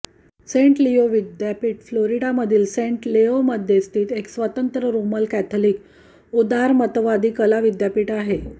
Saint Leo विद्यापीठ फ्लोरिडामधील Saint लेओमध्ये स्थित एक स्वतंत्र रोमन कैथोलिक उदारमतवादी कला विद्यापीठ आहे